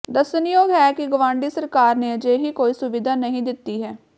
ਦੱਸਣਯੋਗ ਹੈ ਕਿ ਗਵਾਂਢੀ ਸਰਕਾਰ ਨੇ ਅਜਿਹੀ ਕੋਈ ਸੁਵਿਧਾ ਨਹੀਂ ਦਿੱਤੀ ਹੈ